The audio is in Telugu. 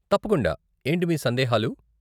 తప్పకుండా, ఏంటి మీ సందేహాలు ?